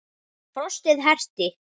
Frostið herti.